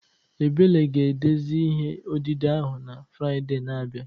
Ebele ga-edezi ihe odide ahụ na Fraịde na-abịa